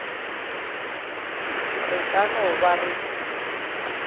re ka no ba re